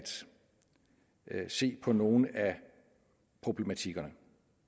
se på nogle af problematikkerne